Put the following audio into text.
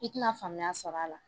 I tina faamuya sɔrɔ a la